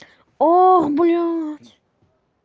ох блядь